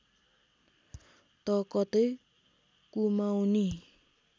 त कतै कुमाउँनी